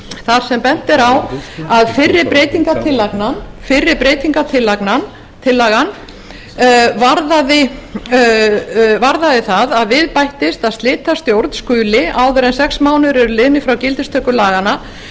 þar sem bent er á að fyrri breytingartillagan varðaði það að við bættist að slitastjórn skuli áður en sex mánuðir eru liðnir frá gildistöku laganna